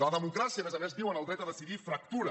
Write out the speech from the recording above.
la democràcia a més a més diuen el dret a decidir fractura